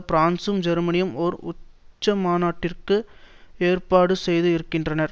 பிரான்ஸசும் ஜெர்மனியும் ஒரு உச்சிமாநாட்டிற்கு ஏற்பாடு செய்து இருக்கின்றனர்